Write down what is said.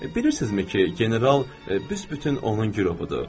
Bilirsinizmi ki, general büsbütün onun gürovudur?